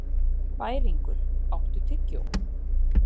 Bæringur, áttu tyggjó?